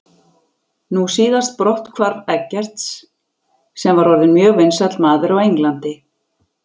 Nú síðast brotthvarf Eggerts sem var orðinn mjög vinsæll maður á Englandi.